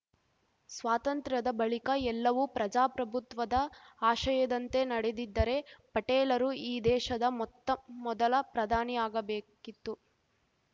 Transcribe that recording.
ಸ್ವಾತಂತ್ರ್ಯದ ಬಳಿಕ ಎಲ್ಲವೂ ಪ್ರಜಾಪ್ರಭುತ್ವದ ಆಶಯದಂತೇ ನಡೆದಿದ್ದರೆ ಪಟೇಲರು ಈ ದೇಶದ ಮೊತ್ತ ಮೊದಲ ಪ್ರಧಾನಿ ಆಗಬೇಕಿತ್ತು